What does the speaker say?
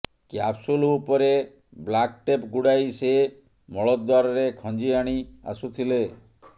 capsule ଉପରେ black tape ଗୁଡ଼ାଇ ସେ ମଳଦ୍ୱାରରେ ଖଞ୍ଜି ଆଣି ଆସୁଥିଲେ